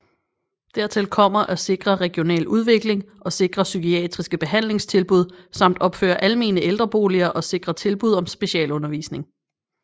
Dertil kommer at sikre regional udvikling og sikre psykiatriske behandlingstilbud samt opføre almene ældreboliger og sikre tilbud om specialundervisning